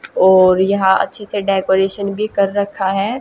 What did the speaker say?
और यहां अच्छे से डेकोरेशन भी कर रखा है।